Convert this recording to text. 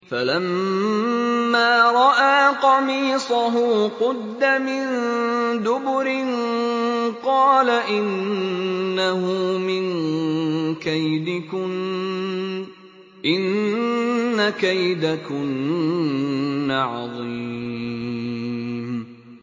فَلَمَّا رَأَىٰ قَمِيصَهُ قُدَّ مِن دُبُرٍ قَالَ إِنَّهُ مِن كَيْدِكُنَّ ۖ إِنَّ كَيْدَكُنَّ عَظِيمٌ